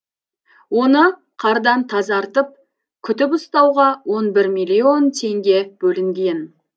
оны қардан тазартып күтіп ұстауға он бір миллион теңге бөлінген